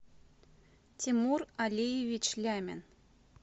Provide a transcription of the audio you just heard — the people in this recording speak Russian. тимур алиевич лямин